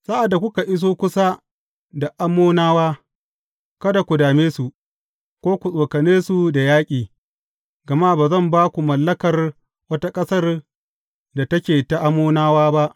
Sa’ad da kuka iso kusa da Ammonawa, kada ku dame su, ko ku tsokane su da yaƙi, gama ba zan ba ku mallakar wata ƙasar da take ta Ammonawa ba.